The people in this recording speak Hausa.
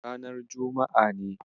Ranar juma'a ne.